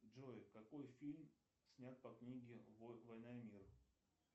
джой какой фильм снят по книге война и мир